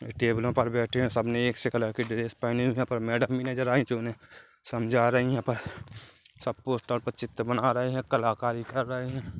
ये टेबलों पर बेठे है सबने एक से कलर के ड्रेस पहने हुवे है पर मेडम भी नजर आई जो उन्हे समझा रही है पर सब पोस्टर पे चित्र बना रहे है कलाकारी कर रहे है।